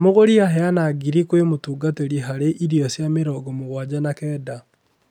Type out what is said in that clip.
Mũgũri aheana ngiri kwe mũtungatĩri harĩ irio cia mĩrongo mũgwanja na kenda.